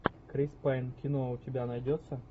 крис пайн кино у тебя найдется